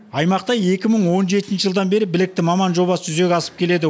аймақта екі мың он жетінші жылдан бері білікті маман жобасы жүзеге асып келеді